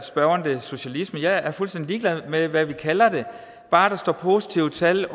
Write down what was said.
spørgeren det socialisme jeg er fuldstændig ligeglad med hvad vi kalder det bare der står positive tal